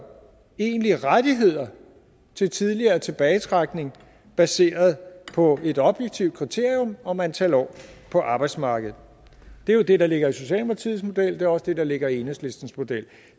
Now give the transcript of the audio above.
egentlige rettigheder til tidligere tilbagetrækning baseret på et objektivt kriterium om antal år på arbejdsmarkedet det er jo det der ligger i socialdemokratiets model det også det der ligger i enhedslistens model